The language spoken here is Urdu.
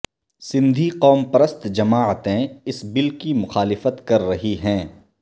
سندھی قوم پرست جماعتیں اس بل کی مخالفت کر رہی ہیں